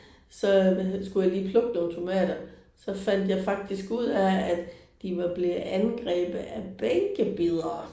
Så hvad hed skulle jeg lige plukke nogle tomater. Så fandt jeg faktisk ud af at de var blevet angrebet af bænkebidere